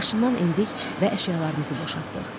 Maşından endik və əşyalarımızı boşaltdıq.